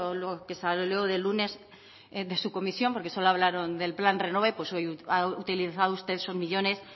lo que salió del lunes de su comisión porque solo hablaron del plan renove pues hoy ha utilizado usted esos millónes